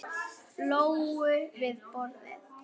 Lóu við borðið.